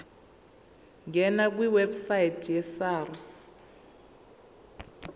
ngena kwiwebsite yesars